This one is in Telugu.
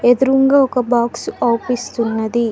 ఎదురుంగా ఒక బాక్స్ ఆఫీస్ ఉన్నది.